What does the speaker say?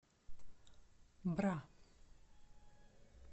бра